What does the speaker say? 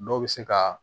Dɔw bɛ se ka